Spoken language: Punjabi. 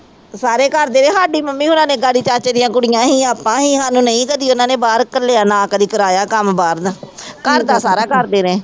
ਤੇ ਸਾਰੇ ਕਰਦੇ ਰਹੇ, ਸਾਡੀ ਮੰਮੀ ਹੋਣਾਂ ਨੇ ਚਾਚੇ ਦੀਆਂ ਕੁੜੀਆਂ ਸੀ ਆਪਾਂ ਸੀ ਸਾਨੂੰ ਨਹੀਂ ਕਦੇ ਉਹਨਾਂ ਨੇ ਬਾਹਰ ਘੱਲਿਆ ਨਾ ਕਦੇ ਕਰਾਇਆ ਕੰਮ ਬਾਹਰ ਦਾ ਘਰਦਾ ਸਾਰਾ ਕਰਦੇ ਰਹੇ।